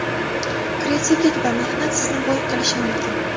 Kreativlik va mehnat sizni boy qilishi mumkin.